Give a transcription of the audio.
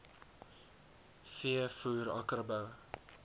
v voer akkerbou